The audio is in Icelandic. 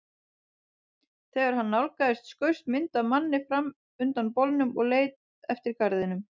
Þegar hann nálgaðist skaust mynd af manni fram undan bolnum og leið eftir garðinum.